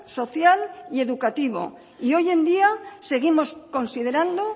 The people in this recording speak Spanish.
social y educativo y hoy en día seguimos considerando